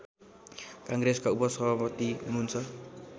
काङ्ग्रेसका उपसभापति हुनुहुन्छ